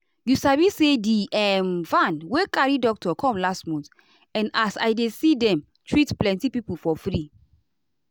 you sabi say di um van wey carry doctor come last month and as i dey see dem treat plenty people for free.